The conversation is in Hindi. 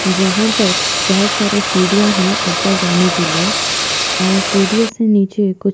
जहाँ पर बहोत सारी सीढ़िया है ऊपर जाने के लिए और सीढ़ियों से नीचे कुछ--